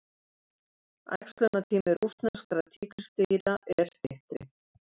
æxlunartími rússneskra tígrisdýra er styttri